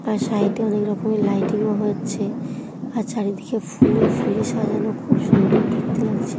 তার সাইডে অনেক রকমের লাইটিং ও হচ্ছে. আর চারিদিকে ফুলে ফুলে সাজানো। খুব সুন্দর দেখতে লাগছে।